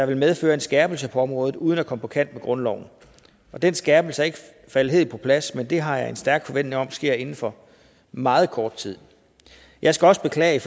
vil medføre en skærpelse på området uden at komme på kant med grundloven den skærpelse er ikke faldet helt på plads men det har jeg en stærk forventning om sker inden for meget kort tid jeg skal også beklage